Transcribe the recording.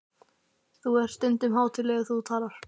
Þú ert stundum hátíðlegur þegar þú talar.